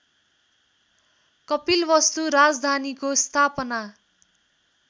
कपिलवस्तु राजधानीको स्थापना